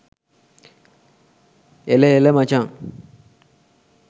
එල එල මචන්